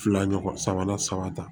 Fila ɲɔgɔn sabanan saba ta